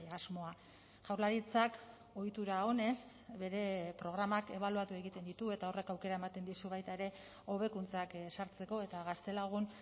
asmoa jaurlaritzak ohitura onez bere programak ebaluatu egiten ditu eta horrek aukera ematen dizu baita ere hobekuntzak sartzeko eta gaztelagun